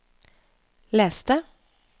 les det